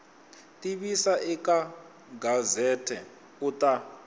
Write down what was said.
tivisa eka gazette u ta